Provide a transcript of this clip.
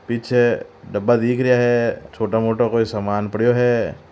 पीछे डब्बा दिख रिया है छोटा मोटा कोई सामान पड़ियो है।